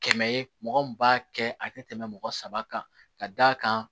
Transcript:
Kɛmɛ ye mɔgɔ min b'a kɛ a tɛ tɛmɛ mɔgɔ saba kan ka d'a kan